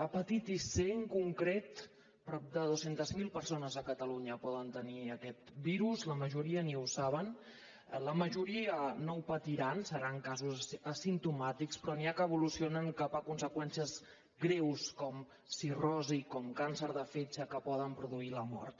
hepatitis c en concret prop de dos cents miler persones a catalunya poden tenir aquest virus la majoria ni ho saben la majoria no ho patiran seran casos asimptomàtics però n’hi ha que evolucionen cap a conseqüències greus com cirrosi com càncer de fetge que poden produir la mort